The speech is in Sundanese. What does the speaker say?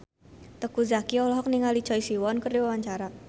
Teuku Zacky olohok ningali Choi Siwon keur diwawancara